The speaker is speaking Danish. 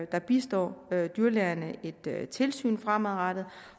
der bistår dyrlægerne et tilsyn fremadrettet